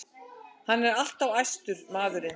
Hann er alltof æstur, maðurinn.